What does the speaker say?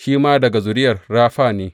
Shi ma daga zuriya Rafa ne.